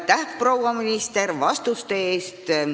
Aitäh, proua minister, vastuste eest!